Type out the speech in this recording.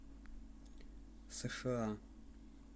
сша